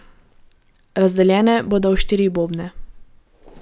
Razdeljene bodo v štiri bobne.